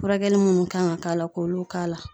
Furakɛli minnu kan ka k'a la, k'olu k'a la.